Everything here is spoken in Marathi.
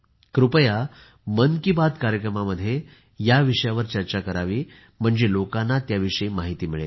कृपया मन की बात कार्यक्रमामध्ये या विषयावर चर्चा करा म्हणजे लोकांना याविषयी माहिती मिळेल